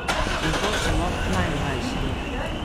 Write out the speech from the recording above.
In to celo najmlajšim.